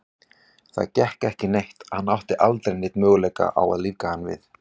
Það gekk ekki neitt, hann átti aldrei neinn möguleika á að lífga hann við.